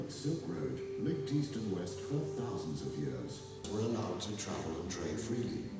Böyük İpək Yolu min illər boyu Şərqi və Qərbi birləşdirib, sərbəst səyahət etməyə və ticarət aparmağa icazə verirdi.